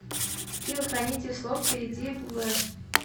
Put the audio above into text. скилл хранитель слов перейди в